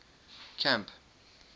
camp